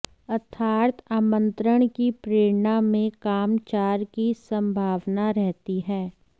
अर्थात् आमन्त्रण की प्रेरणा में कामचार की सम्भावना रहती है